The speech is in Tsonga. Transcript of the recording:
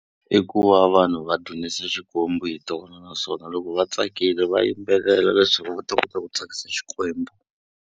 I ku va vanhu va dunisa xikwembu hi tona, naswona loko vatsakile va yimbelela leswaku va ta kota ku tsakisa Xikwembu.